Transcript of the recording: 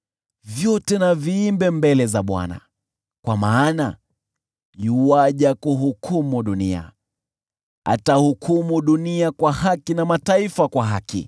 vyote na viimbe mbele za Bwana , kwa maana yuaja kuhukumu dunia. Atahukumu dunia kwa haki na mataifa kwa haki.